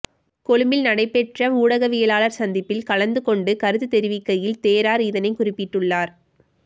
கொழும்பில் நடைபெற்ற ஊடகவியலாளர் சந்திப்பில் கலந்துகொண்டு கருத்துத் தெரிவிக்கையில் தேரர் இதனைக் குறிப்பிட்டுள்ளார்